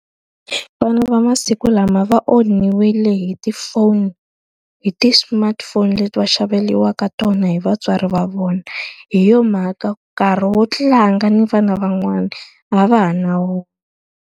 Vana va masiku lama va onhiwile hi tifoni hi ti-smartphone leti va xaveriwaka tona hi vatswari va vona, hi yona mhaka nkarhi wo tlanga ni vana van'wana a va ha na wona.